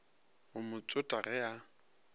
go mo tsota ge a